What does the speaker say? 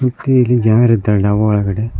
ಮತ್ತು ಇಲ್ಲಿ ಜನರಿದ್ದಾರೆ ಡಾಬಾ ಒಳಗಡೆ.